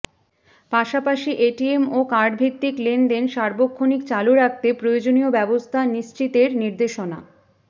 পাশাপাশি এটিএম ও কার্ডভিত্তিক লেনদেন সার্বক্ষণিক চালু রাখতে প্রয়োজনীয় ব্যবস্থা নিশ্চিতের নির্দেশনা